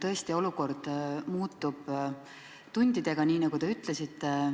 Tõesti, olukord muutub tundidega, nii nagu te ütlesite.